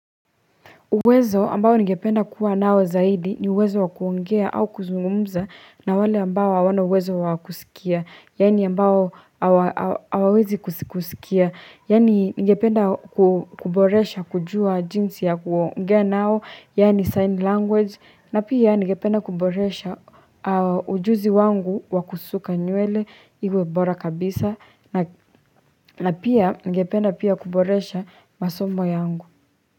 Uwezo ambao ningependa kuwa nao zaidi ni uwezo wa kuongea au kuzungumza na wale ambao hawana uwezo wa kusikia, yaani ambao awawezi kusikia, yaani ningependa kuboresha kujua jinsi ya kuongea nao, yaani sign language, na pia ningependa kuboresha ujuzi wangu wa kusuka nywele iwe bora kabisa, na pia ningependa pia kuboresha masomo yangu.